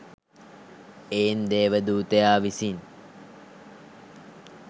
එයින් දේවදූතයා විසින්